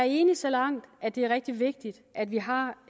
i det så langt at det er rigtig vigtigt at vi har